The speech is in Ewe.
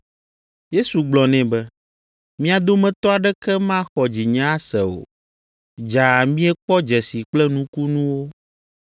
Yesu gblɔ nɛ be, “Mia dometɔ aɖeke maxɔ dzinye ase o, dzaa miekpɔ dzesi kple nukunuwo?”